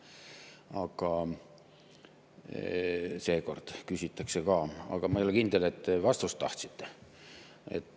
Aga seekord küsiti ka, aga ma ei ole kindel, et vastust tahate.